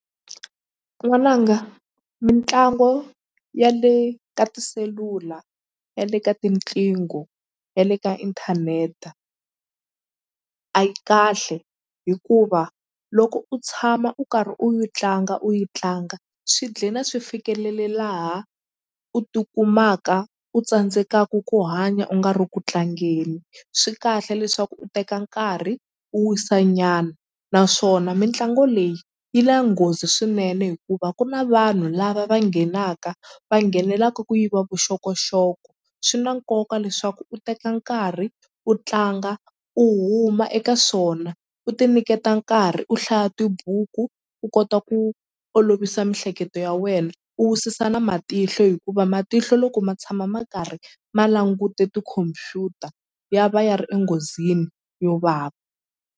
N'wananga mitlango ya le ka tiselula ya le ka tinqingho ya le ka inthaneta a yi kahle hikuva loko u tshama u karhi u yi tlanga u yi tlanga swi dlina swi fikelele laha u tikumaka u tsandzekaku ku hanya u nga ri ku tlangeni swi kahle leswaku u teka nkarhi u wisa nyana naswona mitlangu leyi yi la nghozi swinene hikuva ku na vanhu lava va nghenaka va nghenelaka ku yiva vuxokoxoko swi na nkoka leswaku u teka nkarhi u tlanga u huma eka swona u ti niketa nkarhi u hlaya tibuku u kota ku olovisa mihleketo ya wena u wisisa na matihlo hikuva matihlo loko ma tshama ma karhi ma langute tikhompyuta ya va ya ri enghozini yo vava.